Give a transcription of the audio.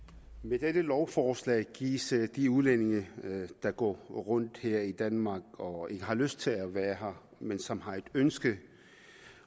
med dette lovforslag gives de udlændinge der går rundt her i danmark og ikke har lyst til at være her men som har et ønske